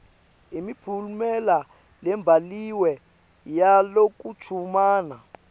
imiphumela lebhaliwe yalokuchumana